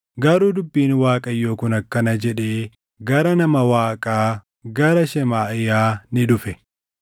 Garuu dubbiin Waaqayyoo kun akkana jedhee gara nama Waaqaa gara Shemaaʼiyaa ni dhufe;